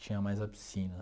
Tinha mais a piscina.